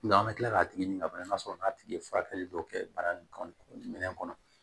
an bɛ kila k'a tigi ɲini ka sɔrɔ n'a tigi ye furakɛli dɔw kɛ bana in kɔnɔ minɛn kɔnɔ